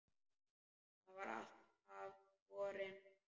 Það var alltaf borin von